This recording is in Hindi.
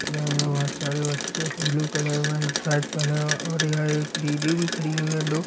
बहुत सारे बच्चे है ब्लू कलर में पहना है और यह एक दीदी भी खड़ी हुई है दो।